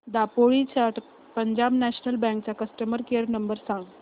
दापोली च्या Punjab national bank चा customer care number सांग